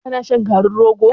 Ka na shan garin rogo?